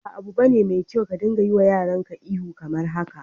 Ba 'abu bane mai kyau ka dinga yiwa yaran ka ihu kamar haka.